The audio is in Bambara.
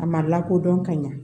A ma lakodɔn ka ɲa